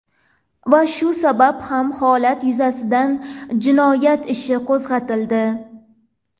Va shu sabab ham holat yuzasidan jinoyat ishi qo‘zg‘atildi.